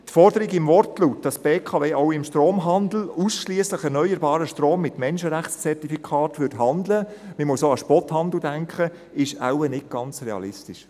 Die Forderung im Wortlaut, wonach die BKW im Stromhandel ausschliesslich mit erneuerbarem Strom mit Menschenrechtszertifikaten handeln würde – man muss auch an Spothandel denken –, ist wahrscheinlich nicht ganz realistisch.